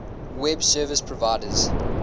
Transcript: web service providers